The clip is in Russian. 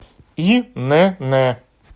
инн